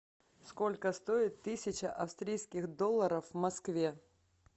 сколько стоит тысяча австрийских долларов в москве